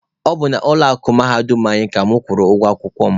Ọ bụ n'ụlọ akụ mahadum anyị ka mụ kwụrụ ụgwọ akwụkwọ mụ.